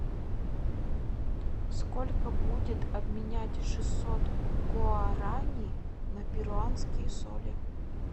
сколько будет обменять шестьсот гуарани на перуанские соли